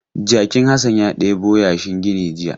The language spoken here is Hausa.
Jakin Hassan ya ɗebo yashin gini jiya.